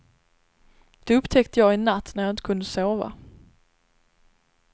Det upptäckte jag en natt när jag inte kunde sova.